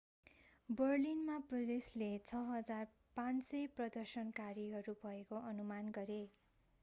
बर्लिनमा पुलिसले 6,500 प्रदर्शनकारीहरू भएको अनुमान गरे